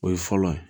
O ye fɔlɔ ye